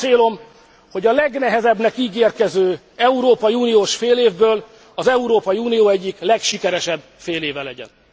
Nekem az a célom, hogy a legnehezebbnek ígérkező európai uniós félévből az Európai Unió egyik legsikeresebb féléve legyen.